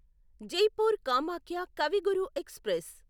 Jaipur Kamakhya Kavi Guru express